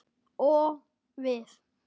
Og við?